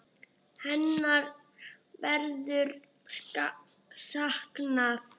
Hennar verður saknað.